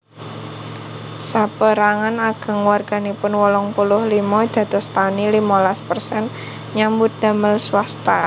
Sapérangan ageng warganipun wolung puluh limo dados tani limolas persen nyambut damel swasta